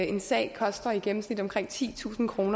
en sag koster i gennemsnit omkring titusind kr og